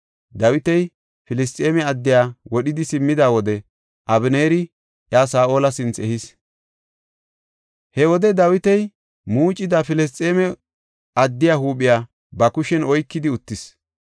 Dawiti Filisxeeme addiya wodhidi simmida wode Abeneeri iya Saa7ola sinthe ehis. He wode Dawiti muucida Filisxeeme addiya huuphiya ba kushen oykidi utisis.